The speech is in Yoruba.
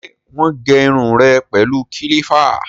Ṣé wọ́n gé irun rẹ pẹ̀lú kílípà?